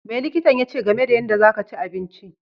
Me likitan yache game da yanda za ka chi abinci?